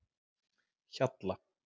Hjalla